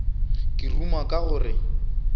ke ruma ka go re